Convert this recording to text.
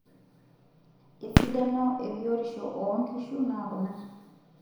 Esidano ebiotisho oonkishu naa kuna;